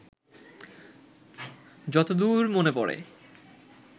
যত দূর মনে পড়ে